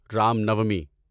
Ram Navami